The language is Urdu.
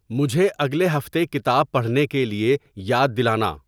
مجھے اگلے ہفتے کتاب پڑھنے کے لیے یاد دلانا